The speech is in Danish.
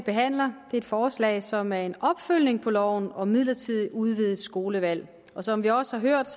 behandler er et forslag som er en opfølgning på loven om midlertidigt udvidet skolevalg og som vi også har hørt